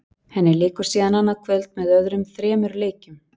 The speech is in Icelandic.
Henni lýkur síðan annað kvöld með öðrum þremur leikjum.